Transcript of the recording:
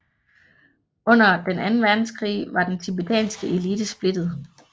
Under Den anden Verdenskrig var den tibetanske elite splittet